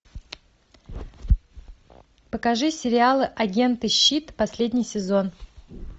покажи сериал агенты щит последний сезон